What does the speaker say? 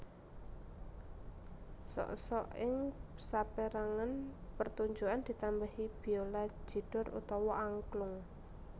Sok sok ing sapérangan pertunjukan ditambahi biola jidor utawa angklung